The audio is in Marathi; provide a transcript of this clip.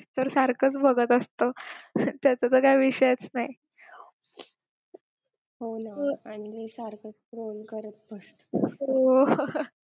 तर सारखच बघत असतो तसं तर काय विषयच नाही